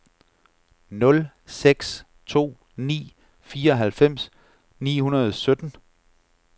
nul seks to ni fireoghalvfems ni hundrede og sytten